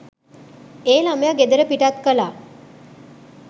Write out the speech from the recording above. ඒ ළමය ගෙදර පිටත් කළා